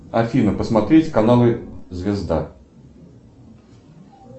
афина посмотреть каналы звезда